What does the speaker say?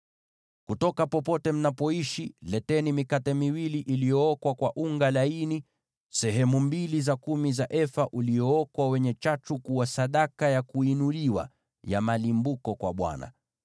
Kutoka popote mnapoishi, mtaleta mikate miwili ya unga laini, sehemu mbili za kumi za efa, uliookwa kwa chachu, kuwa sadaka ya kuinuliwa ya malimbuko kwa Bwana .